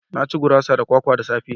Na ci gurasa da kwakwa da safe